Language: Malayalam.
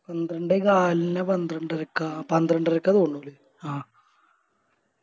പന്ത്രണ്ടേ കാലിനോ പന്ത്രണ്ടരക്ക പന്ത്രണ്ടരക്ക തോന്നു ല്ലേ അഹ്